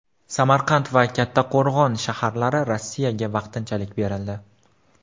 Samarqand va Kattqo‘rg‘on shaharlari Rossiyaga vaqtinchalik berildi.